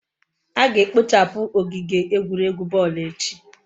A ga-ekpochapu ogige egwuregwu boolu echi